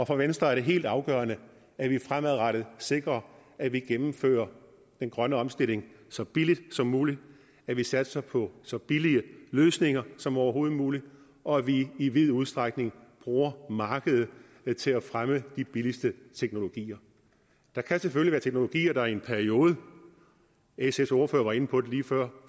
for venstre er det helt afgørende at vi fremadrettet sikrer at vi gennemfører den grønne omstilling så billigt som muligt at vi satser på så billige løsninger som overhovedet muligt og at vi i vid udstrækning bruger markedet til at fremme de billigste teknologier der kan selvfølgelig være teknologier der i en periode sfs ordfører var inde på det lige før